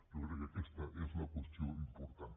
jo crec que aquesta és la qüestió important